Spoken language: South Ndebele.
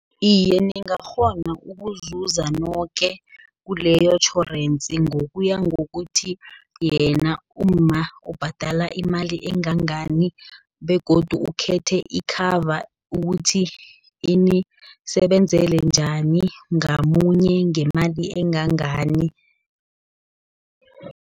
Iye, ngingakghona ukuzuza noke, kuleyo tjhorensi, ngokuya ngokuthi yena umma ubhadala imali engangani, begodu ukhethe ikhava ukuthi inisebenzele njani ngamunye, ngemali engangani.